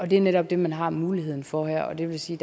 det er netop det man har muligheden for her og det vil sige